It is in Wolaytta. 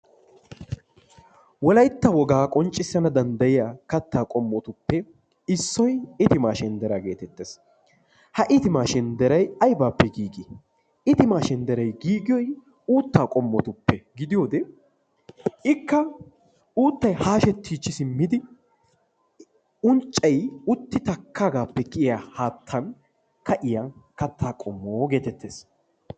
Wolaytta wogaa qonccissanw danddayiyaa quma qommotuppe issoy itima shenddera. Itima shendderay aybbippe giigi, itimaa shendderay giigiyoy uutta qommotuppe gidiyoode ikka uuttay hashshetichchi simmidi unccay utti takkagappe kiyiyya katta qommo getettees.